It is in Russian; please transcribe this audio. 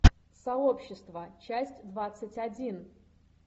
сообщество часть двадцать один